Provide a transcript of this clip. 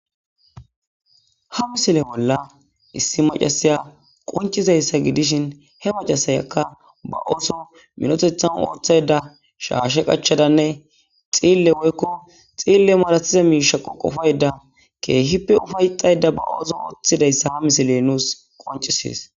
ha misile bolla issi macasaya qoncizayssa gidishin he macasayakka ba oso minotethan ooththayda shaashe qachadanne xiille woykko xiille malatiza miishaqoqufayda keehippe ufayxayda ba oso ooththidayssa ha misile nuus qoncisees